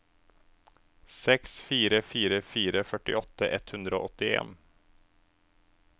seks fire fire fire førtiåtte ett hundre og åttien